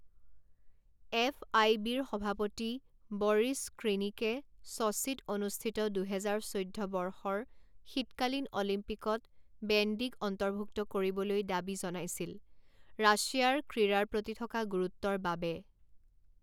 F I বিৰ সভাপতি বৰিছ স্ক্ৰীনিকে ছ'ছিত অনুষ্ঠিত দুহেজাৰ চৈধ্য বৰ্ষৰ শীতকালীন অলিম্পিকত বেণ্ডীক অন্তৰ্ভুক্ত কৰিবলৈ দাবী জনাইছিল ৰাছিয়াৰ ক্ৰীড়াৰ প্ৰতি থকা গুৰুত্বৰ বাবে।